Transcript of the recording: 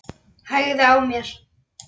Hægði á mér.